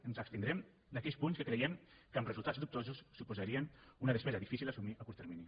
ens abstindrem d’aquells punts que creiem que amb resultats dubtosos suposarien una despesa difícil d’assumir a curt termini